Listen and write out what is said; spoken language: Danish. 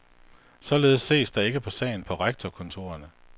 Således ses der ikke på sagen på rektorkontorerne.